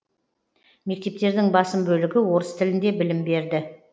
мектептердің басым бөлігі орыс тілінде білім берді